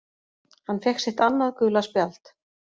Hann fékk sitt annað gula spjald